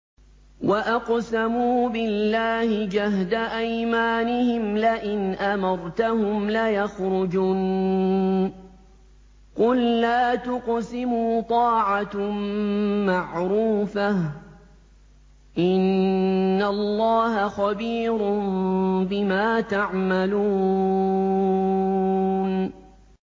۞ وَأَقْسَمُوا بِاللَّهِ جَهْدَ أَيْمَانِهِمْ لَئِنْ أَمَرْتَهُمْ لَيَخْرُجُنَّ ۖ قُل لَّا تُقْسِمُوا ۖ طَاعَةٌ مَّعْرُوفَةٌ ۚ إِنَّ اللَّهَ خَبِيرٌ بِمَا تَعْمَلُونَ